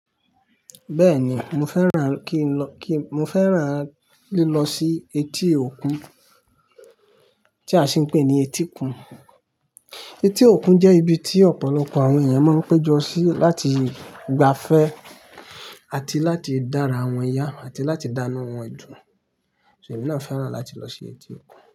Bẹ́ẹ̀ni, mo fẹ́ràn kí n lọ, kí Mo fẹ́ràn lílọ sí etí òkun tí a sì ń pè ní etíkun. Etí òkun jẹ́ ibi tí ọ̀pọ̀lọpọ̀ àwọn èèyàn máa ń péjọ sí láti gba afẹ́ àti láti dára àwọn yá àti láti dánu wan dùn. So èmi náà fẹ́ràn láti lọ sí etí òkun?